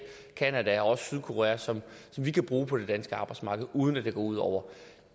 canada og også sydkorea som vi kan bruge på det danske arbejdsmarked uden at det går ud over